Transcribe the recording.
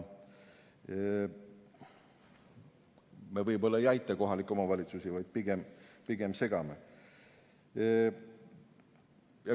Me võib-olla ei aita kohalikke omavalitsusi, vaid pigem segame.